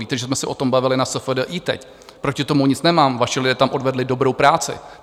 Víte, že jsme se o tom bavili na SFDI teď, proti tomu nic nemám, vaši lidé tam odvedli dobrou práci.